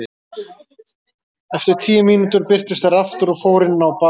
Eftir tíu mínútur birtust þær aftur og fóru inn á baðherbergið.